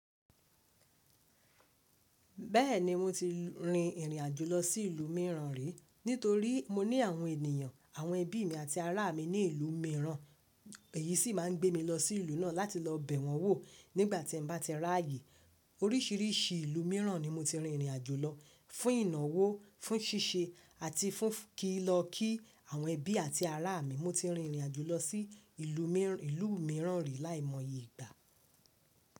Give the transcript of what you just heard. Bẹ́ẹ̀ni mo ti rin ìrìn àjò lọ sí ìlú mìíràn rí, nítorí mo ní àwọn ènìyàn, àwọn ẹbí mi àti ará mi ní ìlú mìíràn. Èyí sì máa ń gbé mi lọ sí ìlú náà láti lọ bẹ̀ wọ́n wò nígbàtí n bá ti rààyè. Oríṣìíríṣìí ìlú mìíràn ni mo ti rin ìrìn àjò lọ fún ìnáwó, fún ṣíṣe àti fún kí lọ kí àwọn ẹbí àti ará mi. Mo ti rin ìrìn àjò lọ sí ìlú mìíràn rí láìmọ̀ye ìgbà.